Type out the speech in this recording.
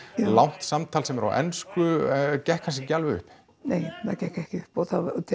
langt samtal sem er á ensku gekk kannski ekki alveg upp nei það gekk ekki upp og